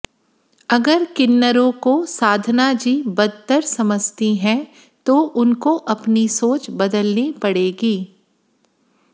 अगर किन्नरों को साधना जी बदतर समझती हैं तो उनको अपनी सोच बदलनी पड़ेगी